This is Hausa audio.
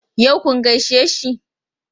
Yau kun gaishe shi?